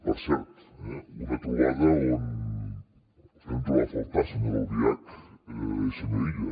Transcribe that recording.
per cert una trobada on els vam trobar a faltar senyora albiach i senyor illa